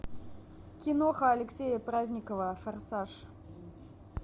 киноха алексея праздникова форсаж